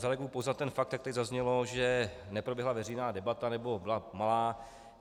Zareaguji pouze na ten fakt, jak tady zaznělo, že neproběhla veřejná debata, nebo byla malá.